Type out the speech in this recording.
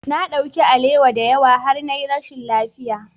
Na ɗauki alewa da yawa har na yi rashin lafiya.